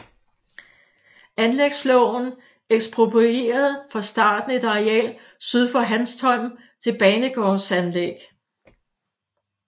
Anlægsloven eksproprierede fra starten et areal syd for Hanstholm til banegårdsanlæg